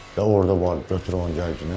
Və orda vardı götür onu gəlginən.